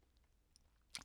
DR1